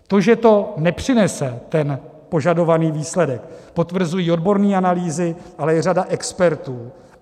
To, že to nepřinese ten požadovaný výsledek, potvrzují odborné analýzy, ale i řada expertů.